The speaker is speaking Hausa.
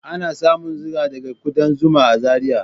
Ana samun zuma da gidan kudan zuma a Zariya